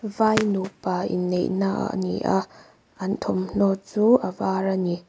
vai nupa inneihna ani a an thawmhnaw chu a var ani.